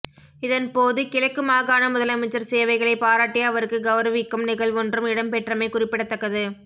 இதன் போது கிழக்கு மாகாண முதலமைச்சர் சேவைகளை பாராட்டி அவருக்கு கௌரவிக்கும் நிகழ்வொன்றும் இடம்பெற்றமை குறிப்பிடத்தக்கது